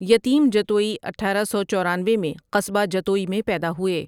یتیم جتوئی اٹھارہ سو چورانوے میں قصبہ جتوئی میں پیدا ہوئے ۔